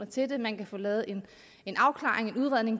til det man kan få lavet en afklaring en udredning og